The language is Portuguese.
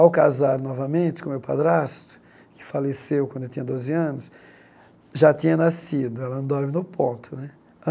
Ao casar novamente com o meu padrasto, que faleceu quando eu tinha doze anos, já tinha nascido, ela não dorme no ponto né.